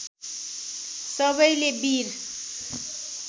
सबैले वीर